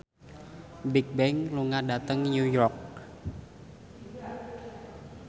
Bigbang lunga dhateng New York